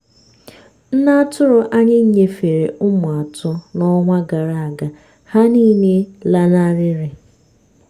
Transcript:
nne atụrụ anyị nyefere ụmụ atọ n'ọnwa gara aga ha niile lanarịrị.